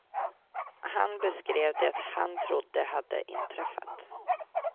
Han beskrev det han trodde hade inträffat.